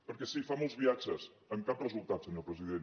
perquè sí fa molts viatges amb cap resultat senyor president